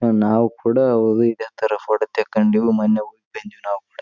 ನಾವು ಕೂಡ ಅವು ಯಾವ ತರ ಫೋಟೋ ತಕಂಡಿವಿ ಅಂತ ಮೊನ್ನೆ ಹೋಗಿ ಬಂದಿವಿ ನಾವು ಕೂಡ-